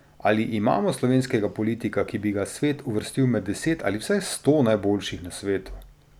Ali imamo slovenskega politika, ki bi ga svet uvrstil med deset ali vsaj sto najboljših na svetu?